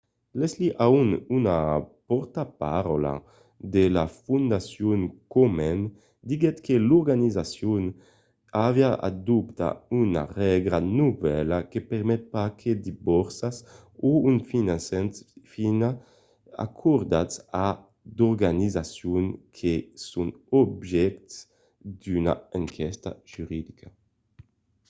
leslie aun una pòrtaparaula de la fondacion komen diguèt que l'organizacion aviá adoptat una règla novèla que permet pas que de borsas o un finançament sián acordats a d'organizacions que son objèctes d'una enquèsta judiciària